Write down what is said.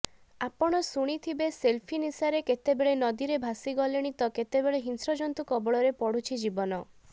ଆପଣ ଶୁଣିଥିବେ ସେଲଫି ନିଶାରେ କେତେବେଳେ ନଦୀରେ ଭାସଗଲେଣି ତ କେତେବେଳ ହିଂସ୍ରଜନ୍ତୁ କବଳରେ ପଡ଼ୁଛି ଜୀବନ